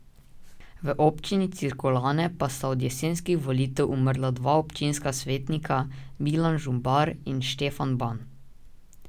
V občini Cirkulane pa sta od jesenskih volitev umrla dva občinska svetnika, Milan Žumbar in Štefan Ban.